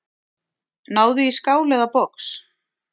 Náðu í skál eða box.